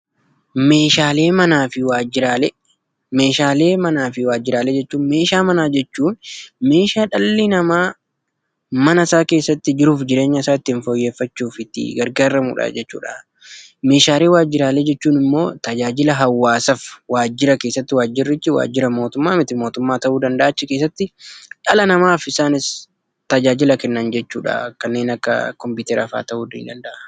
Meeshaalee manaa fi waajjiraalee. Messhaalee manaa fi waajjiraalee jechuun meeshaa manaa jechuun meeshaa dhalli namaa jiruu fi jireenya isaa guuttachuuf gargaaramuudha. Meeshaalee waajjiraa jechuun immoo tajaajila hawwaasaaf waajjira keessatti kennamuudha. Waajjirichis waajjira mootummaa fi waajjira miti mootummaa ta'uu danda'a.